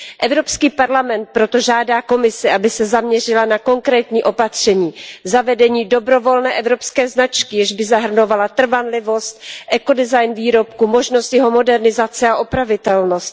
Evropský parlament proto žádá Komisi, aby se zaměřila na konkrétní opatření, zavedení dobrovolné evropské značky, jež by zahrnovala trvanlivost, ekodesign výrobku, možnost jeho modernizace a opravitelnost.